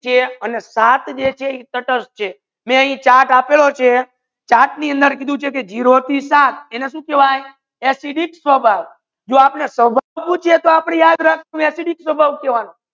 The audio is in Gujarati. એ સાત જે છે એ તટસ્થ છે માઇ એ ચાર્ટ આપેલુ છે ચાર્ટ ની અંદર કિધેલુ છે ઝીરો થી સાત એને સુ કહેવયે acidic સ્વભાવ જો આપને સ્વભાવ યાદ રખસુ acidic સ્વભાવ કેવાનુ